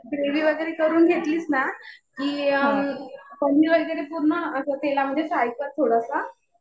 Gravy वगैरे करून घेतलीस ना कि, पनीर वगैरे पूर्ण असं तेलामध्ये फ्राय कर थोडंसं.